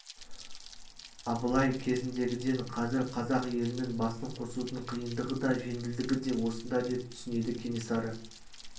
абылай кезіндегіден қазір қазақ елінің басын қосудың қиындығы да жеңілдігі де осында деп түсінеді кенесары